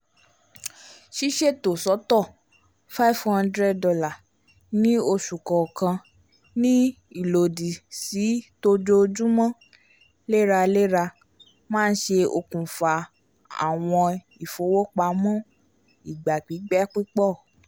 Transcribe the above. ṣiṣeto sọtọ five hundred dollar ní oṣù kọọkan ní ilòdi si t'ojoojumọ leralera ma nṣẹ́ òkùnfà awọn ifowopamọ igba pipẹ pupọ